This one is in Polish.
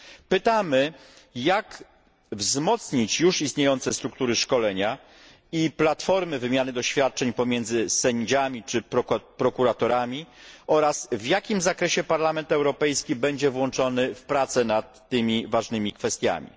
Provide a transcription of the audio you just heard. Pytamy, jak wzmocnić już istniejące struktury szkolenia i platformy wymiany doświadczeń pomiędzy sędziami czy prokuratorami oraz w jakim zakresie Parlament Europejski będzie włączony w prace nad tymi ważnymi kwestiami.